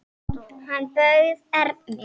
Hann bauð Erni.